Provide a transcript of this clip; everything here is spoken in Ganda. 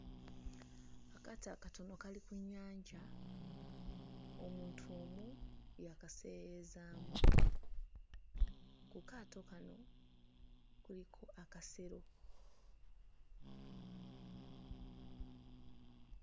Akaato akatono kali ku nnyanja, omuntu omu y'akaseeyeeyezaamu. Ku kaato kano kuliko akasero.